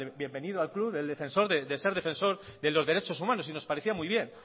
bienvenido al club de ser defensor de los derechos humanos y nos parecía muy bien